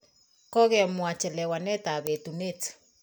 Kokemwa chelewanet ap etunet